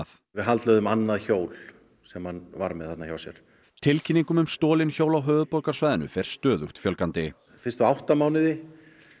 við haldlögðum annað hjól sem hann var með þarna hjá sér tilkynningum um stolin hjól á höfuðborgarsvæðinu fer stöðugt fjölgandi fyrstu átta mánuði